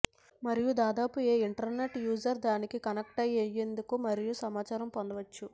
మరియు దాదాపు ఏ ఇంటర్నెట్ యూజర్ దానికి కనెక్ట్ అయ్యేందుకు మరియు సమాచారం పొందవచ్చు